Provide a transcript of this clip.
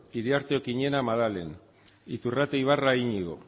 iriarte okiñena maddalen iturrate ibarra iñigo